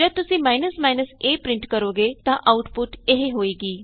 ਜਦ ਤੁਸੀਂ a print ਕਰੋਗੇ ਤਾਂ ਆਉਟਪੁਟ ਇਹ ਹੋਏਗੀ